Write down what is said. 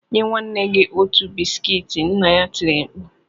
Nye nwanne gị otu bisikiiti!” Nna ya tiri mkpu